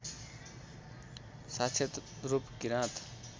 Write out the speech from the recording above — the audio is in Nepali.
साक्षत रूप किराँत